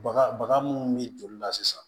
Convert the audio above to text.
Baga baga munnu be joli la sisan